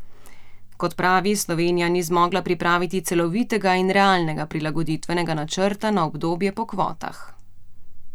Kot pravi, Slovenija ni zmogla pripraviti celovitega in realnega prilagoditvenega načrta na obdobje po kvotah.